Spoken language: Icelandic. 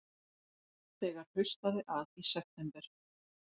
Þegar haustaði að í september